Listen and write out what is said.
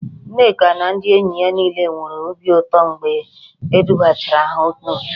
Nneka na ndị enyi ya niile nwere obi ụtọ mgbe e dubatachara ha n'òtù